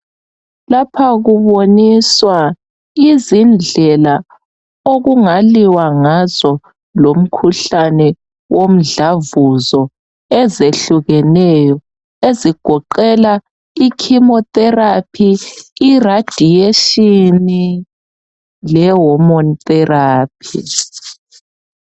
Lapha kuboniswa izindlela okungaliwa ngazo lomkhuhlane womdlavuzo ezehlukeneyo ezigoqela ichemotherapy, iradiation lehormone therapy.